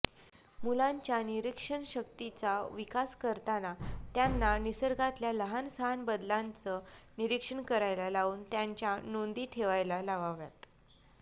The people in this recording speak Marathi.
मुलांच्या निरीक्षणशक्तीचा विकास करताना त्यांना निसर्गातल्या लहानसहान बदलांचं निरीक्षण करायला लावून त्यांच्या नोंदी ठेवायला लावाव्यात